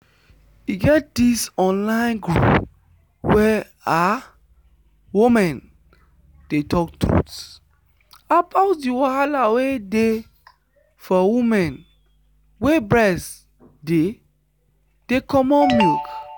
e get this online group where ah women dey talk truth about the wahala wey dey for women wey breast dey dey comot milk.